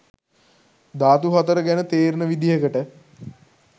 ධාතු හතර ගැන තේරෙන විදිහකට